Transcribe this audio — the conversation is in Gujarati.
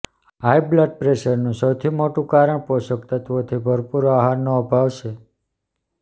હાઈ બ્લડ પ્રેશરનું સૌથી મોટું કારણ પોષક તત્વોથી ભરપૂર આહારનો અભાવ છે